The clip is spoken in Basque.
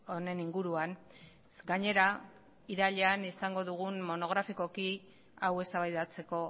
honen inguruan gainera irailean izango dugu monografikoki hau eztabaidatzeko